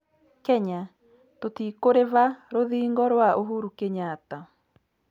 Kenya: Tũtikuriva rũthingo rwa Uhuru Kenyatta